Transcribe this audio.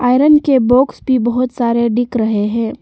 Iron के box भी बहुत सारे दिख रहे है।